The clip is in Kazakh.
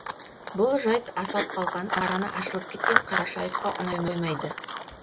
бұл жайт асап қалған араны ашылып кеткен қарашаевқа ұнай қоймайды